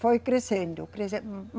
Foi crescendo, crescendo